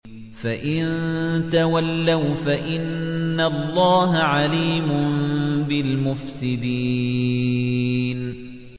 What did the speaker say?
فَإِن تَوَلَّوْا فَإِنَّ اللَّهَ عَلِيمٌ بِالْمُفْسِدِينَ